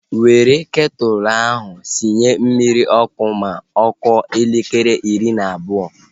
Were ketụlu ahu sinye mmiri n'ọkụ ma ọ kụọ elekere iri na abụọ!